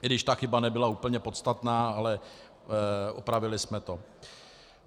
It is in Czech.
I když ta chyba nebyla úplně podstatná, ale opravili jsme to.